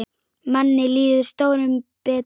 Manni líður stórum betur.